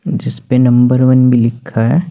जिसपे number one भी लिखा है।